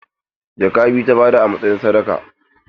Jaka biyu ta bayar a matsayin sadaka.